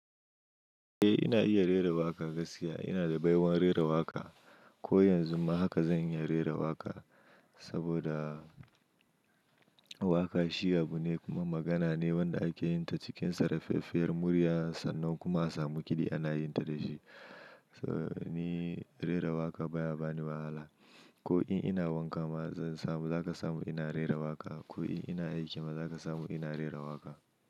Eh ina iya rera waƙa gaskiya ina da baiwar rera waƙa. Ko yanzu ma haka zan iya rera waƙa saboda waƙa shi abu ne kuma magana ne wanda ake yin ta cikin saraffafiyar murya sannan kuma a samu kuɗi ana yin ta da shi. Ni rera waƙa baya bani wahala ko in ina wanka ma zan samu za ka samu ina rera waƙa ko in ina aiki ma za ka samu ina rera waƙa.